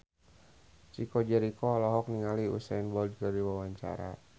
Chico Jericho olohok ningali Usain Bolt keur diwawancara